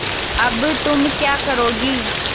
अब तुम क्या करोगी